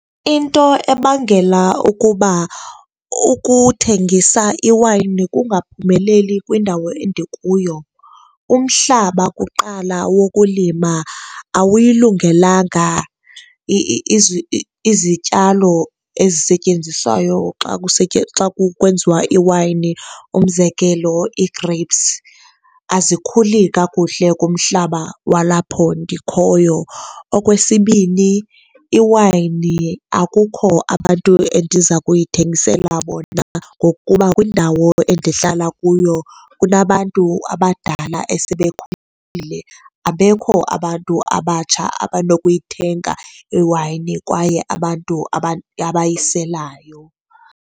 Into ebangela ukuba ukuthengisa iwayini kungaphumeleli kwindawo endikuyo, umhlaba kuqala wokulima awuyilungelanga izityalo ezisetyenziswayo xa kwenziwa iwayini, umzekelo, ii-grapes azikhuli kakuhle kumhlaba walapho ndikhoyo. Okwesibini, iwayini akukho abantu endiza kuyithengisela bona ngokuba kwindawo endihlala kuyo kunabantu abadala esebekhulile, abekho abantu abatsha abanokuyithenga iwayini kwaye abantu abayiselayo.